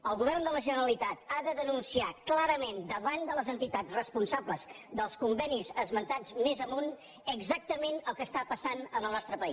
el govern de la generalitat ha de denunciar clarament davant de les entitats responsables dels convenis esmentats més amunt exactament el que està passant en el nostre país